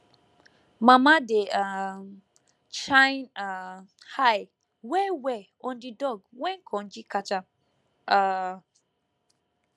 mama dey um shine um eye wellwell on di dog when konji catch am um